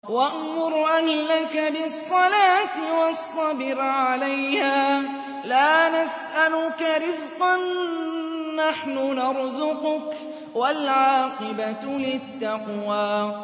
وَأْمُرْ أَهْلَكَ بِالصَّلَاةِ وَاصْطَبِرْ عَلَيْهَا ۖ لَا نَسْأَلُكَ رِزْقًا ۖ نَّحْنُ نَرْزُقُكَ ۗ وَالْعَاقِبَةُ لِلتَّقْوَىٰ